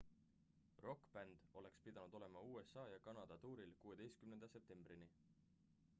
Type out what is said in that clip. rokkbänd oleks pidanud olema usa ja kanada tuuril 16 septembrini